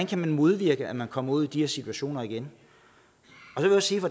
kan modvirke at man kommer ud i de her situationer igen